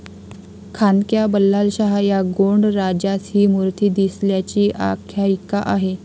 खांद्क्या बल्लालशाह या गोंड राजास ही मूर्ती दिसल्याची आख्यायिका आहे.